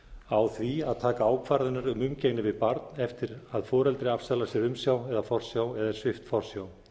á því að taka ákvarðanir um umgengni við barn eftir að foreldri afsalar sér umsjá eða forsjá eða er svipt forsjá